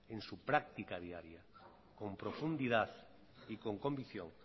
en su práctica diaria con profundidad y con convicción